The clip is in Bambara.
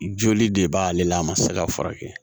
Joli de b'ale la a ma se ka furakɛ